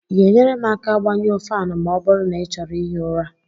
Ị ga-enyere m aka gbanyụọ ​​​​Fan ma ọ bụrụ na ị chọrọ ihi ụra?